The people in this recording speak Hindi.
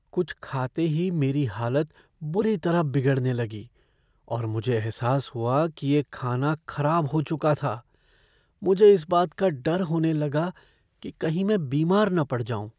कुछ खाते ही मेरी हालत बुरी तरह बिगड़ने लगी और मुझे एहसास हुआ कि ये खाना खराब हो चुका था। मुझे इस बात का डर होने लगा कि कहीं मैं बीमार न पड़ जाऊँ।